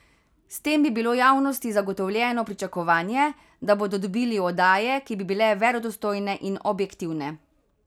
S tem bi bilo javnosti zagotovljeno pričakovanje, da bodo dobili oddaje, ki bi bile verodostojne in objektivne.